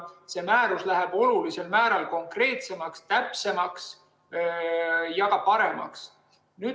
See määrus läks olulisel määral konkreetsemaks, täpsemaks ja paremaks.